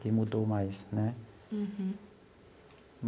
Que mudou mais, né?